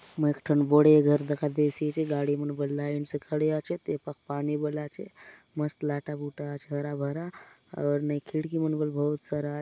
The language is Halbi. एक ठन बड़े घर दखा देयसि आचे गाड़ी मन बले लाइन से खड़े आचे ए पाक पानी मन बले आचे मस्त लाटा - बूटा आचे हरा - भरा आउर नई खिड़की मन बले बहुत सारा --